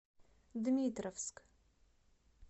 дмитровск